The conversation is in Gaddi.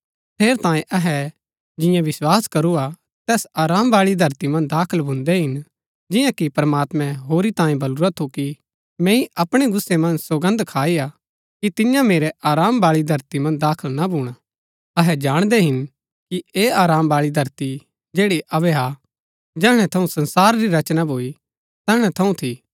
ठेरैतांये अहै जिऐ विस्वास करू हा तैस आराम बाळी धरती मन्ज दाखल भून्दै हिन जिआं कि प्रमात्मैं होरी तांये बल्लुरा थू कि मैंई अपणै गुस्सै मन्ज सौगन्द खाई कि तियां मेरै आराम बाळी धरती मन्ज दाखल ना भूणा अहै जाणदै हिन कि ऐह आराम बाळी धरती जैड़ी अबै हा जैहणै थऊँ संसार री रचना भूई तैहणै थऊँ थी